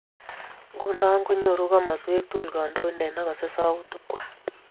Nguno konyoru komoswek tkul kandoindet nekosei sautik kwai